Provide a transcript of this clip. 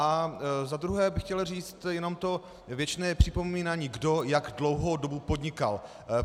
A za druhé bych chtěl říct jenom to věčné připomínání, kdo jak dlouhou dobu podnikal.